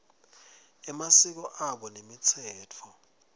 emasiko abo nemitsetfo